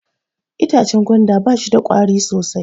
Itacen gwanda ba shida ƙwari sosai